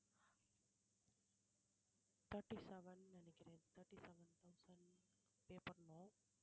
thirty seven ன்னு நினைக்கிறேன் thirty seven thousand pay பண்ணணும்